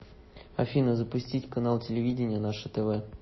афина запустить канал телевидения наше тв